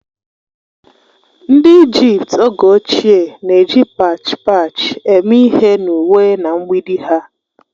Ndị Ijipt oge ochie na-eji pach pach eme ihe n'uwe na mgbidi ha